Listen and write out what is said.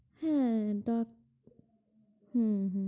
হ্যাঁ, হম হম